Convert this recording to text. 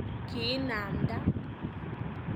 Kiinamnda.